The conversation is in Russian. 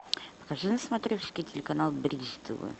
покажи на смотрешке телеканал бридж тв